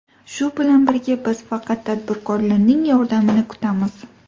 Shu bilan birga, biz faqat tadbirkorlarning yordamini kutamiz.